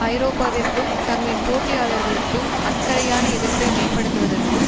ஐரோப்பாவிற்குள் தங்களின் போட்டியாளர்களுக்கு அக்கறையான எதிர்ப்பை மேம்படுத்துதற்கும்